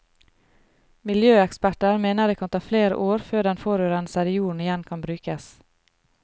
Miljøeksperter mener det kan ta flere år før den forurensede jorden igjen kan brukes.